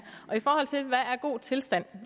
god tilstand